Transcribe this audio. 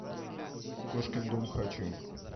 кошкин дом хочу